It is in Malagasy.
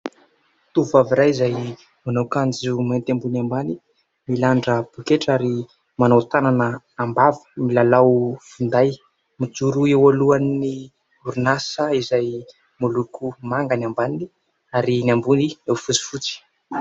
Tovovavy iray izay manao akanjo mainty ambony ambany, milanja poketra, ary manao tànana am-bava, milalao finday. Mijoro eo alohan'ny orinasa izay miloko manga ny ambany ary ny ambony fotsifotsy.